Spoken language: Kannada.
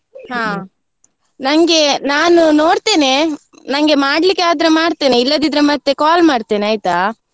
ನನ್ಗೆ ನಾನು ನೋಡ್ತೇನೆ, ನನ್ಗೆ ಮಾಡ್ಲಿಕ್ಕೆ ಆದ್ರೆ ಮಾಡ್ತೇನೆ ಇಲ್ಲದಿದ್ರೆ ಮತ್ತೆ call ಮಾಡ್ತೇನೆ, ಆಯ್ತಾ?